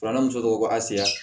Filanan muso ko a se